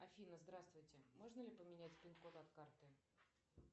афина здравствуйте можно ли поменять пин код от карты